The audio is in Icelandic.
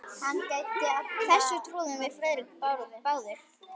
Þessu trúðum við Friðrik báðir.